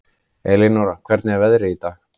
Elinóra, hvernig er veðrið í dag?